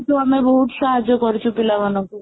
ତ ଆମେ ବହୁତ ସାହାଯ୍ୟ କରିଛୁ ପିଲାମାନଙ୍କୁ